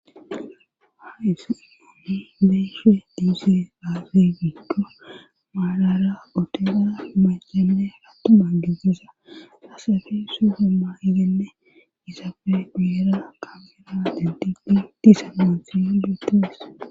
hais mami beeshe diise aaze gigdo maalara otena macae arattuma giziza asafi suhomma igenne isapfe guyera kamera dentidi disamantiya dutes